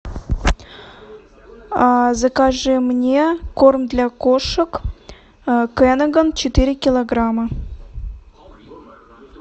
закажи мне корм для кошек кэнаган четыре килограмма